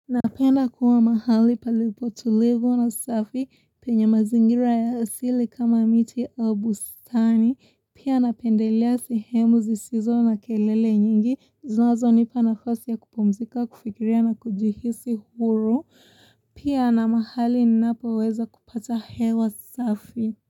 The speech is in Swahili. Napenda kuwa mahali palipo tulivu na safi, penye mazingira ya asili kama miti a u bustani, pia napendelea sehemu zisizo na kelele nyingi, zinazo nipa na fasi ya kupumzika, kufikiria na kujihisi huru, pia na mahali ninapo weza kupata hewa safi.